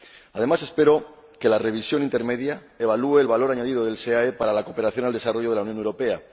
Además, espero que la revisión intermedia evalúe el valor añadido del SEAE para la cooperación al desarrollo de la Unión Europea.